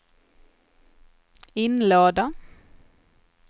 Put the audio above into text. inlåda